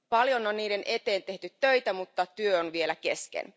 Paljon on niiden eteen tehty töitä, mutta työ on vielä kesken.